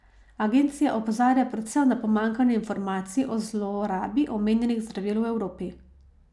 Agencija opozarja predvsem na pomanjkanje informacij o zlorabi omenjenih zdravil v Evropi.